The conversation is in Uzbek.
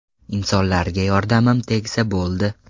Insonlarga yordamimiz tegsa bo‘ldi.